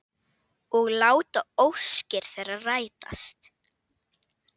Og láta óskir þeirra rætast.